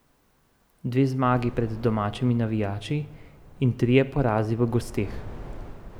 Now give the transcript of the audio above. Dve zmagi pred domačimi navijači in trije porazi v gosteh.